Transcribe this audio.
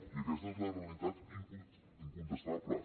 i aquesta és la realitat incontestable